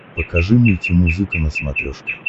покажи мультимузыка на смотрешке